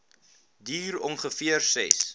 duur ongeveer ses